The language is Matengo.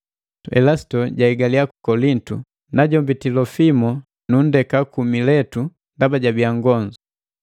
Elasito jahigaliya ku Kolintu, najombi Tilofimo nundeka ku Miletu ndaba jabiya nngonzu.